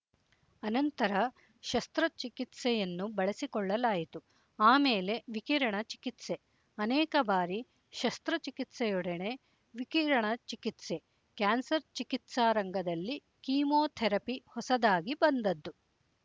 ಅನಂತರ ಶಸ್ತ್ರ ಚಿಕಿತ್ಸೆಯನ್ನು ಬಳಸಿಕೊಳ್ಳಲಾಯಿತು ಆಮೇಲೆ ವಿಕಿರಣ ಚಿಕಿತ್ಸೆ ಅನೇಕ ಬಾರಿ ಶಸ್ತ್ರಚಿಕಿತ್ಸೆಯೊಡನೆ ವಿಕಿರಣ ಚಿಕಿತ್ಸೆ ಕ್ಯಾನ್ಸರ್ ಚಿಕಿತ್ಸಾರಂಗದಲ್ಲಿ ಕೀಮೋಥೆರಪಿ ಹೊಸದಾಗಿ ಬಂದದ್ದು